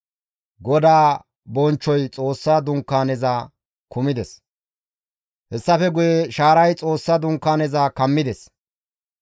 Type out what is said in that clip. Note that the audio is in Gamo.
Hessafe guye shaaray Xoossa Dunkaaneza kammides; GODAA bonchchoyka iza kumides.